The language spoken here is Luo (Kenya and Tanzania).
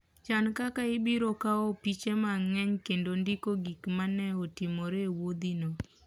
Chan kaka ibiro kawo piche mang'eny kendo ndiko gik ma ne otimore e wuodhino.